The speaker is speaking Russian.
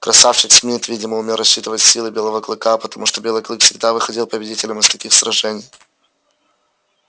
красавчик смит видимо умел рассчитывать силы белого клыка потому что белый клык всегда выходил победителем из таких сражений